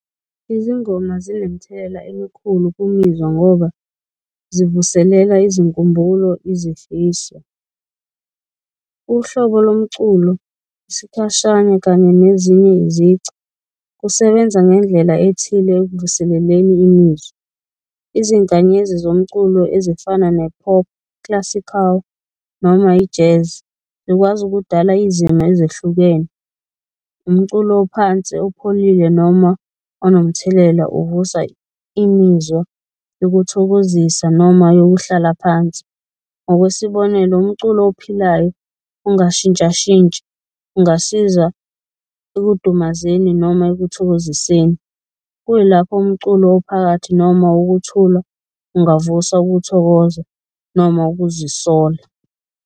Izingoma zinemithelela emikhulu kumizwa ngoba zivuselela izinkumbulo, izifiso, uhlobo lomculo, isikhashana kanye nezinye izici kusebenza ngendlela ethile ekuvuseleleni imizwa. Izinkanyezi zomculo ezifana ne-Pop Classical noma i-Jazz zikwazi ukudala izimo ezehlukene, umculo ophansi opholile noma onomthelela uvusa imizwa yokuthokozisa noma yokuhlala phansi. Ngokwesibonelo, umculo ophilayo ongashintshashintshi ungasiza ekudumazeni noma ekuthokoziseni, kuyilapho umculo ophakathi noma wokuthula ungavusa ukuthokoza noma ukuzisola.